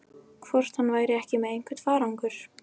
Hvort hann væri ekki með einhvern farangur?